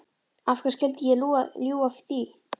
Af hverju skyldi ég ljúga því?